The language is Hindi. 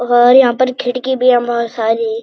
और यहाँ पर खिड़की भी हम बहुत सारी।